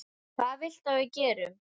Hvað viltu að við gerum?